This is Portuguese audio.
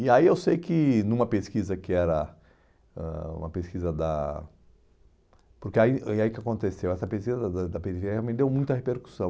E aí eu sei que numa pesquisa que era, ãh uma pesquisa da, porque e aí que e aí o que aconteceu, essa pesquisa da periferia realmente deu muita repercussão.